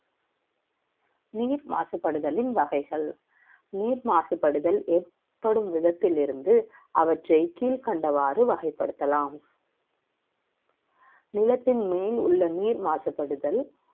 நீர் மாசுபடுதல் வகைகள் நீர் மாசுபடுதல் ஏற்படும் விதத்தில் இருந்து அவற்றை கீழ்கண்டவாறு வகைப்படுத்தலாம். நிலத்தின் மேல் உள்ள நீர் மாசுபடுதல்